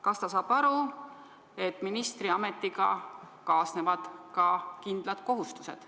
Kas ta saab aru, et ministriametiga kaasnevad ka kindlad kohustused.